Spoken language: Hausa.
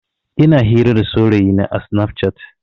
Ina hira da saurayina a sinaf cat.